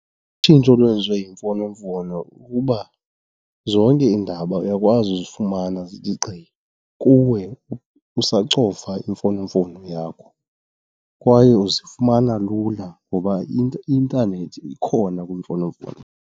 Utshintsho olwenziwe yimfonomfono kukuba zonke iindaba uyakwazi uzifumana zithi gqi kuwe usacofa imfonomfono yakho kwaye uzifumana lula ngoba i-intanethi ikhona kwimfonomfono.